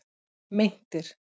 Meintir